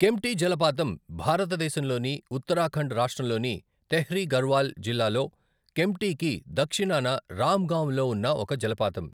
కెంప్టీ జలపాతం భారతదేశంలోని ఉత్తరాఖండ్ రాష్ట్రంలోని తెహ్రీ గర్హ్వాల్ జిల్లాలో కెంప్టీకి దక్షిణాన రామ్ గాంవ్ లో ఉన్న ఒక జలపాతం.